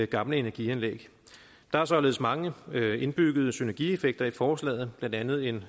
gamle energianlæg der er således mange indbyggede synergieffekter i forslaget blandt andet en